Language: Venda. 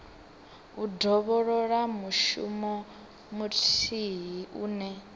u dovholola mushumo muthihi une